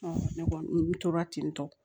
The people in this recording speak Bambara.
ne kɔni n tora ten tɔ